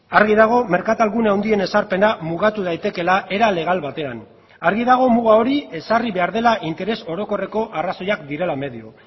argi dago merkatalgune handien ezarpena mugatu daitekeela era legal batean argi dago muga hori ezarri behar dela interes orokorreko arrazoiak direla medio